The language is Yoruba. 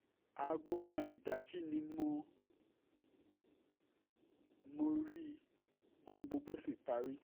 aago kan ìdájí ni mo mo rí i ohun gbogbo sí parí